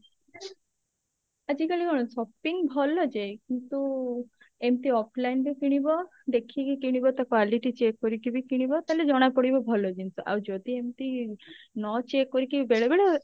ଆଜିକାଲି କଣ shopping ଭଲ ଯେ କିନ୍ତୁ ଏମତି offline ରେ କିଣିବ ଦେଖିକି କିଣିବ ତ quality check କରିକି ବି କିଣିବ ତାହେଲେ ଜଣାପଡିବ ଭଲ ଜିନିଷ ଆଉ ଯଦି ଏମତି ନ check କରିକି ବେଳେ ବେଳେ